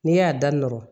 N'e y'a da nɔrɔ